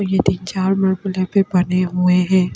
चार मर्कुल यहाँ बने हुए हैं ।